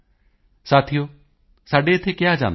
ਸਾਥੀਓ ਸਾਡੇ ਇੱਥੇ ਕਿਹਾ ਜਾਂਦਾ ਹੈ